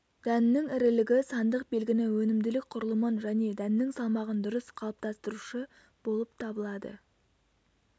дәннің ірілігі сандық белгіні өнімділік құрылымын және дәннің салмағын дұрыс қалыптастырушы болып табылады